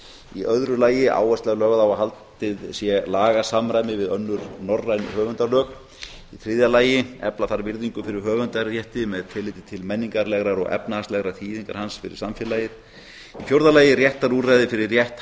í öðru lagi áhersla er lögð á að haldið sé lagasamræmi við önnur norræn höfundalög í þriðja lagi efla þarf virðingu fyrir höfundarétti með tilliti til menningarlegrar og efnahagslegrar þýðingar hans fyrir samfélagið í fjórða lagi réttarúrræði fyrir rétthafa